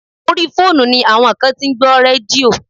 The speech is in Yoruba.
Orí fóònù ni àwọn kan tí ń gbọ́ rédíò.